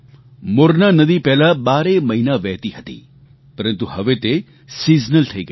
મોરના નદી પહેલા બારેય મહિના વહેતી હતી પરંતુ હવે તે સીઝનલ થઈ ગઈ છે